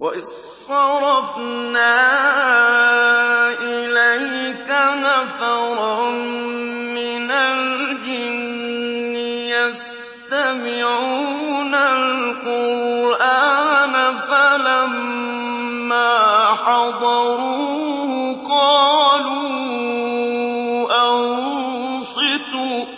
وَإِذْ صَرَفْنَا إِلَيْكَ نَفَرًا مِّنَ الْجِنِّ يَسْتَمِعُونَ الْقُرْآنَ فَلَمَّا حَضَرُوهُ قَالُوا أَنصِتُوا ۖ